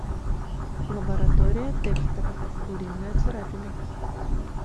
лаборатория декстера куриная царапина